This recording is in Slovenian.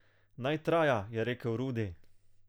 Naj traja, je rekel Rudi.